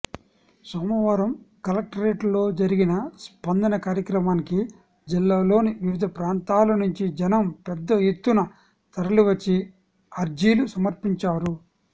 సోమవారం కలెక్టరేట్లో జరిగిన స్పందన కార్యక్రమానికి జిల్లాలోని వివిధ ప్రాంతాల నుంచి జనం పెద్ద ఎత్తున తరలివచ్చి అర్జీలు సమర్పించారు